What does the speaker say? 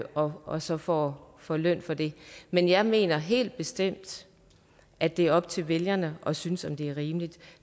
og og så får får løn for det men jeg mener helt bestemt at det er op til vælgerne at synes om det er rimeligt